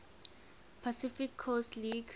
pacific coast league